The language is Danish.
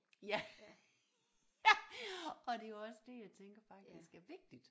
Ja ja og det er jo også det jeg tænker faktisk er vigtigt